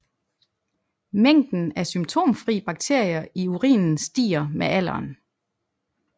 Mængden af symptomfri bakterier i urinen stiger med alderen